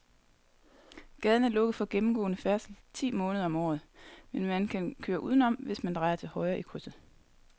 Gaden er lukket for gennemgående færdsel ti måneder om året, men man kan køre udenom, hvis man drejer til højre i krydset.